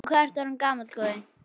Og hvað ertu orðinn gamall, góði?